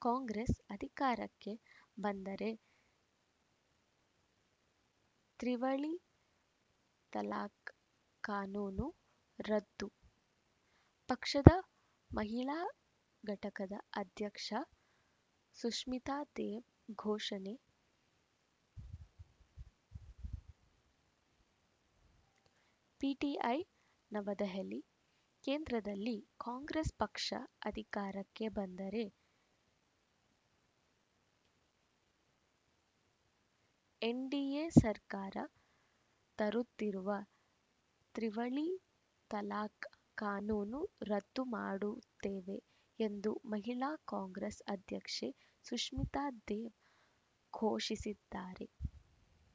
ಕಾಂಗ್ರೆಸ್‌ ಅಧಿಕಾರಕ್ಕೆ ಬಂದರೆ ತ್ರಿವಳಿ ತಲಾಖ್‌ ಕಾನೂನು ರದ್ದು ಪಕ್ಷದ ಮಹಿಳಾ ಘಟಕದ ಅಧ್ಯಕ್ಷ ಸುಷ್ಮಿತಾ ದೇವ್‌ ಘೋಷಣೆ ಪಿಟಿಐ ನವದೆಹಲಿ ಕೇಂದ್ರದಲ್ಲಿ ಕಾಂಗ್ರೆಸ್‌ ಪಕ್ಷ ಅಧಿಕಾರಕ್ಕೆ ಬಂದರೆ ಎನ್‌ಡಿಎ ಸರ್ಕಾರ ತರುತ್ತಿರುವ ತ್ರಿವಳಿ ತಲಾಖ್‌ ಕಾನೂನನ್ನು ರದ್ದು ಮಾಡುತ್ತೇವೆ ಎಂದು ಮಹಿಳಾ ಕಾಂಗ್ರೆಸ್‌ ಅಧ್ಯಕ್ಷೆ ಸುಷ್ಮಿತಾ ದೇವ್‌ ಘೋಷಿಸಿದ್ದಾರೆ